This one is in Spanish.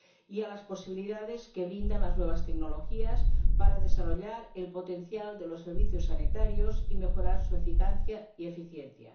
y a las posibilidades que brindan las nuevas tecnologías para desarrollar el potencial de los servicios sanitarios y mejorar su eficacia y eficiencia.